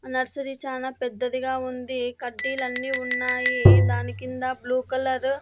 Nursery చానా పెద్దదిగా ఉంది కడ్డీలన్నీ ఉన్నాయి దాని కింద బ్లూ కలర్ .